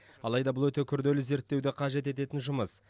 алайда бұл өте күрделі зерттеуді қажет ететін жұмыс